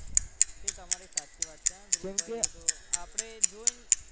એ તમારી સાચી વાત છે ધ્રુવભાઈ આપણે જોઈન